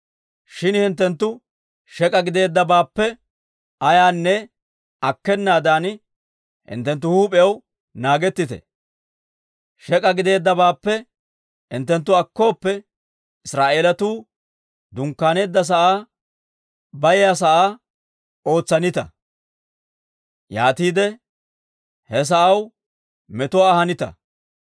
Shin hinttenttu shek'k'a gideeddabaappe ayaanne akkenaadan hinttenttu huup'iyaw naagettite. Shek'k'a gideeddabaappe hinttenttu akkooppe, Israa'eelatuu dunkkaaneedda sa'aa bayiyaa sa'aa ootsanita; yaatiide he sa'aw metuwaa ahanita.